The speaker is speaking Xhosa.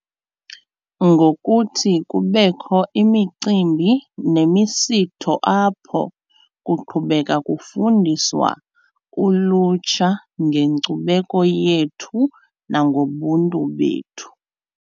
Ngokuthi kubekho imicimbi nemisitho apho kuqhubeka kufundiswa ulutsha ngenkcubeko yethu nangobuntu bethu.